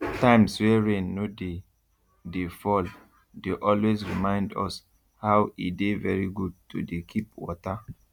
times wey rain no dey dey fall dey always remind us how e dey very good to dey keep water